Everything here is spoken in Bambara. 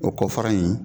O kɔfara in